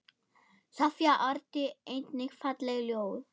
Soffía orti einnig falleg ljóð.